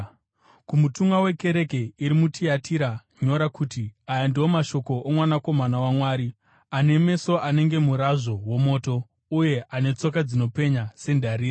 “Kumutumwa wekereke iri muTiatira nyora kuti: Aya ndiwo mashoko oMwanakomana waMwari, ane meso anenge murazvo womoto uye ane tsoka dzinopenya sendarira.